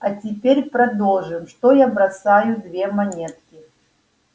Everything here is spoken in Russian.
а теперь предположим что я бросаю две монетки